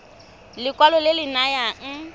ke lekwalo le le nayang